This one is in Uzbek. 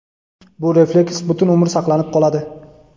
Bu refleks butun umr saqlanib qoladi.